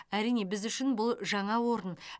әрине біз үшін бұл жаңа орын